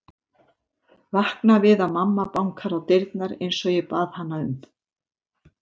Vakna við að mamma bankar á dyrnar einsog ég bað hana um.